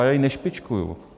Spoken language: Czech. A já ji nešpičkuji.